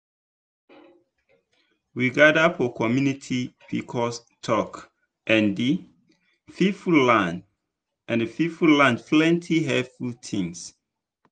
we gather for community pcos talk and people learn and people learn plenty helpful things.